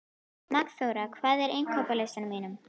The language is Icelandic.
Magnþóra, hvað er á innkaupalistanum mínum?